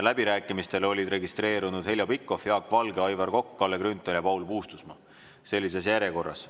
Läbirääkimistele olid registreerunud Heljo Pikhof, Jaak Valge, Aivar Kokk, Kalle Grünthal ja Paul Puustusmaa, sellises järjekorras.